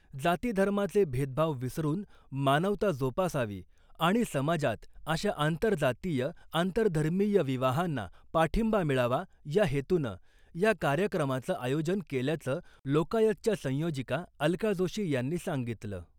जाती धर्माचे भेदभाव विसरून मानवता जोपासावी आणि समाजात अशा आंतरजातीय आंतरधर्मीय विवाहांना पाठींबा मिळावा या हेतूनं या कार्यक्रमाचं आयोजन केल्याचं लोकायतच्या संयोजिका अलका जोशी यांनी सांगितलं .